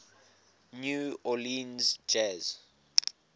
new orleans jazz